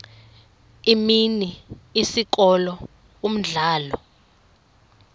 imini isikolo umdlalo